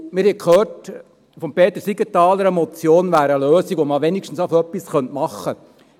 Wir haben von Peter Siegenthaler gehört, eine Motion sei eine Lösung, mit der man wenigstens schon einmal etwas machen könne.